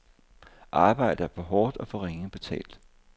Arbejdet er for hårdt og for ringe betalt.